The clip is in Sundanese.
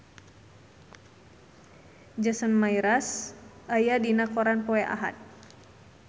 Jason Mraz aya dina koran poe Ahad